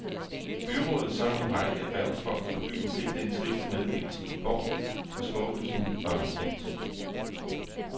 Byrådet samt en række erhvervsfolk fra byen fik den triste meddelelse i går, og skuffelsen var markant.